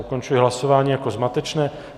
Ukončuji hlasování jako zmatečné.